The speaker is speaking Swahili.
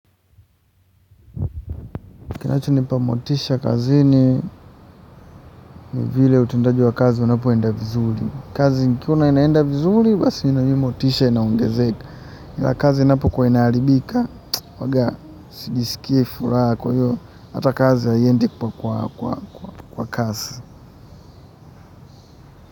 Kinachonipa motisha kazini vile utendaji wa kazi unapoenda vizuri. Kazi nikiona inaenda vizuri, basi nami motisha inaongezeka. Kazi inapokuwa inaharibika, huwaga, sijiskii furaha kwa hiyo. Hata kazi haiendi kwa kwa kasi.